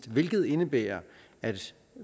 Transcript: hvilket indebærer at